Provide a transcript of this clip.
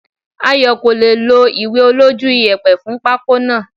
Ayo kò lè è lo ìwé olójú iyẹ̀pẹ̀ fún pako náà.